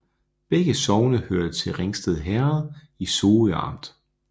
Begge sogne hørte til Ringsted Herred i Sorø Amt